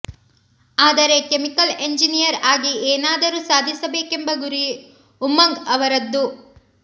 ಆದರೆ chemical engineer ಆಗಿ ಏನಾದರೂ ಸಾಧಿಸಬೇಕೆಂಬ ಗುರಿ ಉಮಂಗ್ ಅವರದ್ದು